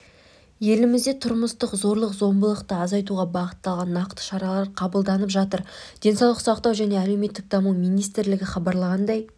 елімізде тұрмыстық зорлық-зомбылықты азайтуға бағытталған нақты шаралар қабылданып жатыр денсаулық сақтау және әлеуметтік даму министрлігі хабарлағандай